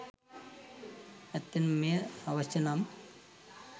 ඇත්තෙන්ම මෙය අවශ්‍ය නම්